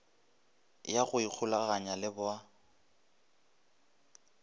ya go ikgolaganya le ba